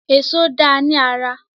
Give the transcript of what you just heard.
Èṣó dáa ní ara.